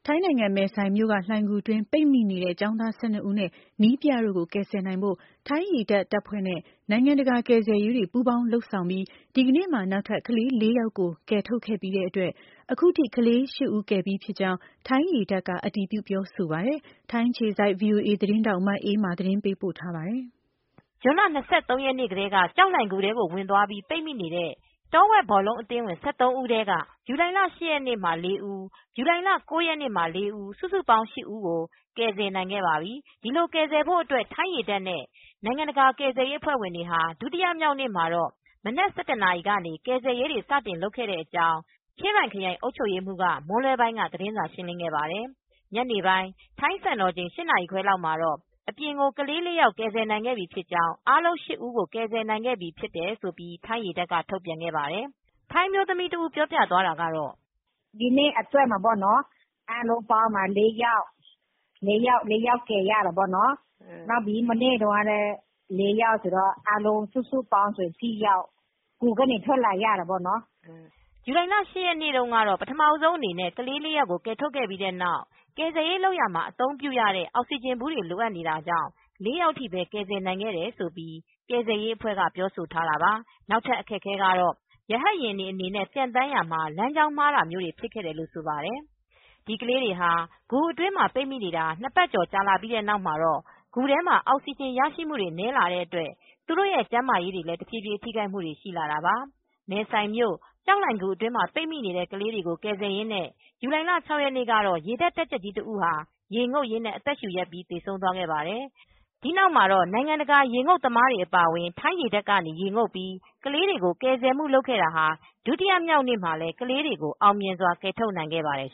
ိုင်းနိုင်ငံ၊ မယ်ဆိုင်မြို့က လှိုဏ်ဂူအတွင်း ပိတ်မိနေတဲ့ ကျောင်းသားလေး ၁၂ ဦးနဲ့ နည်းပြတဦးပေါင်း ၁၃ ဦး ကို ကယ်ဆယ်နိုင်ဖို့အတွက် ထိုင်းရေတပ်တပ်ဖွဲနဲ့ နိုင်ငံတကာက ကယ်ဆယ်ရေးအဖွဲ့တွေ ပူးပေါင်း လုပ်ဆောင်ပြီး ဒီကနေ့မှာ နောက်ထပ် ကလေး၄ယောက်ကို ကယ်ထုတ်ခဲ့ရာမှာကလေးအားလုံး ၈ဦးရှိသွားပြီ ဖြစ်ကြောင်း ထိုင်းရေတပ်ကအတည်ပြုပါတယ်။ ထိုင်းအခြေစိုက် VOA သတင်းထောက် မအေးအေးမာက သတင်းပေးပို့ ထားပါတယ်။ ဇွန်လ ၂၃ရက်နေ့ကတည်း ကျောက်လှိုင်ဂူထဲကို ဝင်သွားပြီး ပိတ်မိနေတဲ့ တောဝက်ဘောလုံးအသင်းဝင် ၁၃ဦးထဲက ဇူလိုင်လ၈ ရက်နေ့မှာ ၄ဦး ဇူလိုင် လ၉ရက်နေ့ မှာ ၄ဦး စုစုပေါင်း ၈ဦး ကို ကယ်ဆယ်နိုင်ခဲ့ပါပြီ။ ဒီလို ကယ်ဆယ်ဖို့အတွက် ထိုင်းရေတပ်နဲ့ နိုင်ငံတကာကယ်ဆယ်ရေးတွေက ဒုတိယမြောက်နေ့မှာတော့ မနက် ၁၁နာရီ ကနေ ကယ်ဆယ်ရေးတွေ စတင်လုပ်ဆောင်ခဲ့ကြောင်း ချင်းရိုင်ခရိုင်အုပ်ချုပ်ရေးမှူးက မွန်းလွဲပိုင်း ကသတင်းစာ ရှင်းလင်းခဲ့ပါတယ်။ ညနေပိုင်း ထိုင်းစံတော်ချိန် ၈နာရီခွဲလောက်မှာတော့ အပြင်ကို ကလေး ၄ယောက် ကယ်ဆယ်နိုင်ခဲ့ပြီးဖြစ်ကြောင်း အားလုံး၈ဦးကို ကယ်ဆယ်နိုင်ခဲ့ပြီးဖြစ်ကြောင်း ထိုင်းရေတပ်က ထုတ်ပြန်ခဲ့ပါတယ် ထိုင်းအမျိုးသမီးပြောပြတာကတော့ "ဒိနေ့အတွက်မှာက အားလုံး ၄ယောက်ကယ်လို့ ရတာပေါ့ မနေ့က ၄ယောက်ပေါ့ အားလုံးပေါင်းရင် ၈ယောက် ဂူထဲကထွက်လာနိုင်ခဲ့တာပေါ့နော်" ဇူလိုင်လ၈ ရက်နေ့ ပထမဦးဆုံအနေနဲ့ ကလေး ၄ယောက်ကိုကယ်ထုတ်ခဲ့ပြီးတဲ့နောက် ကယ်ဆယ်ရေး လုပ်ရာမှာအသုံးပြုရတဲ့ အောင်စီဂျင်ဘူးတွေလိုအပ်နေတာကြောင့် ၄ယောက်ထိပဲ ကယ်ဆယ်နိုင်တယ်လို့ ကယ်ဆယ်ရေးအဖွဲ့က ပြောဆိုခဲ့ပါတယ်။ နောက်ထပ်အခက်အခဲကတော့ ရဟတ်ယာဉ်အနေနဲ့ပျံသန်းရာမှာလမ်းကြောင်းမှားတာမျိုးဖြစ်ခဲ့တယ်လို့ဆိုပါတယ်။ ဒီကလေးတွေ ဟာဂူအတွင်းမှာ ပိတ်မိနေတာ ၂ပတ်ကျော်လာပြီးတဲ့နောက်မှာတော့ ဂူထဲမှာ အောက်စီဂျင်ရရှိမူ နည်းလာတဲ့အတွက် သူတို့ရဲ့ကျန်းမာရေးတွေလည်း တဖြည်းဖြည်းထိခိုက်မူတွေရှိလာတာပါ ။ မဲဆိုင်မြို့ကျောက်လှိုင်ဂူ အတွင်းမှာ ပိတ်မိနေတဲ့ ကလေးတွေကို ကယ်ဆယ်ရင်းနဲ့ ဇူလိုင်လ ၆ရက်နေ့ကတော့ ရေတပ်တပ်ကြပ်ကြီးတဦး ဟာရေငုတ်ရင်းနဲ့ အသက်ရှူရပ်ပြီး သေဆုံးသွားခဲ့ပါတယ်။ ဒီနောက်မှာတော့ နိုင်ငံတကာ ရေငုတ်သမားတွေ အပါအဝင်ထိုင်ရေတပ်ကနေ ရေငုတ်ပြီးကလေးတွေကို ကယ်ဆယ်မူလုပ်ခဲ့တာ ဒုတိယနေ့ မှာလည်းကလေးတွေကိုအောင်မြင်စွာကယ်ထုတ်နိုင်ခဲ့ပါတယ်